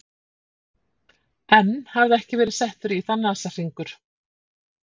Enn hafði ekki verið settur í það nasahringur.